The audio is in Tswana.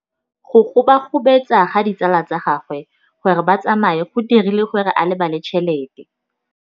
Go gobagobetsa ga ditsala tsa gagwe, gore ba tsamaye go dirile gore a lebale tšhelete.